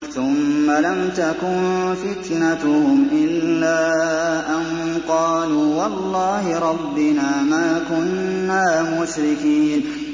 ثُمَّ لَمْ تَكُن فِتْنَتُهُمْ إِلَّا أَن قَالُوا وَاللَّهِ رَبِّنَا مَا كُنَّا مُشْرِكِينَ